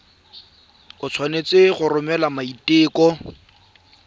o tshwanetse go romela maiteko